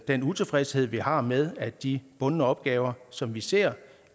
den utilfredshed vi har med at de bundne opgaver som vi ser